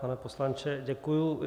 Pane poslanče, děkuji.